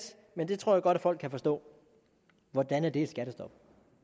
men det tror jeg godt at folk kan forstå hvordan er det et skattestop